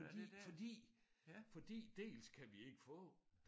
Fordi fordi fordi dels kan vi ikke få